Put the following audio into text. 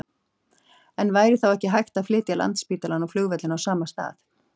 En væri þá ekki hægt að flytja Landspítalann og flugvöllinn á sama stað?